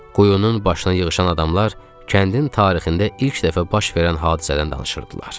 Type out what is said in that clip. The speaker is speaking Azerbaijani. Quyunun başına yığışan adamlar kəndin tarixində ilk dəfə baş verən hadisədən danışırdılar.